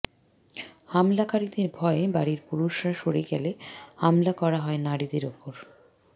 হামলাকারীদের ভয়ে বাড়ির পুরুষরা সরে গেলে হামলা করা হয় নারীদের ওপর